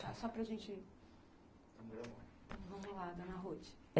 Só para gente... Vamos lá, dona Ruth.